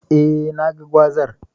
Eh, naga gwazar.